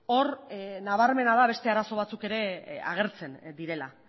hor nabarmena da beste arazo batzuk ere agertzen direla